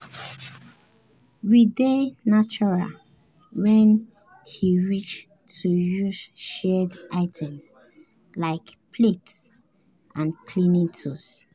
we dey neutral when e reach to use shared items like plates and cleaning tools.